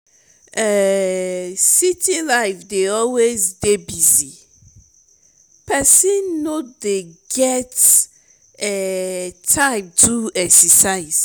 um city life dey always dey busy pesin no dey get um time to do exercise.